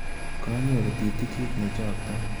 Kanyoru titikit nechaktai.